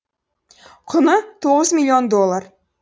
құны тоғыз миллион доллар